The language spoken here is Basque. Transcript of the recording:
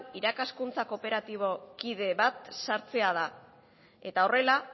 irakaskuntzako kooperatibo kide bat sartzea da eta horrela